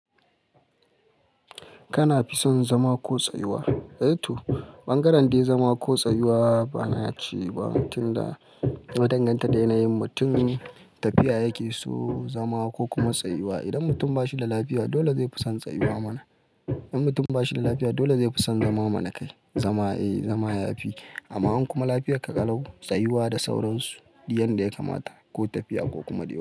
Kana fi son zama ko tsayuwa? Eh to, ɓangaren dai zama ko tsayuwa ba na ci ba, tun da na danganta da yanayin mutum tafiya yake so zama ko kuma tsayuwa. Idan mutum ba shi da lafiya dole zai fi son tsayuwa mana. Idan mutum ba shi da lafiya dole zai fi son zama mana kai. Zama eh zama ya fi. Amma in kuma lafiya ka kalau tsayuwa da sauransu yanda ya kamata ko tafiya ko kuma ɗebo.